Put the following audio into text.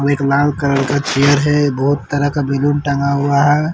एक लाल कलर का चेयर है बहुत तरह का बैलून टँगा हुआ है।